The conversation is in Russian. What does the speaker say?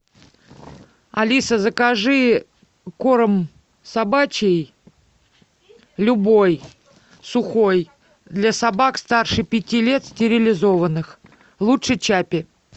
алиса закажи корм собачий любой сухой для собак старше пяти лет стерилизованных лучше чаппи